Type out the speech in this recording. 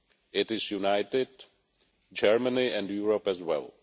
it is united, and Germany and Europe as well.